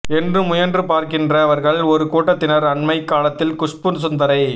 என்று முயன்று பார்க்கின்றவர்கள் ஒரு கூட்டத்தினர் அண்மைக் காலத்தில் குஷ்பு சுந்தரை